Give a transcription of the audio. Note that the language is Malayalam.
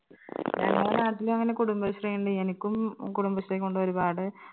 ഞങ്ങളെ നാട്ടിലും അങ്ങനെ കുടുംബശ്രീ ഇണ്ട് എനിക്കും കുടുംബശ്രീ കൊണ്ട് ഒരുപാട്